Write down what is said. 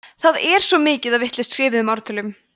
það er svo mikið af vitlaust skrifuðum ártölum